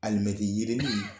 Alimɛti yirinin